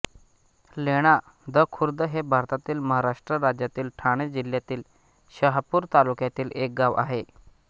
लेणादखुर्द हे भारतातील महाराष्ट्र राज्यातील ठाणे जिल्ह्यातील शहापूर तालुक्यातील एक गाव आहे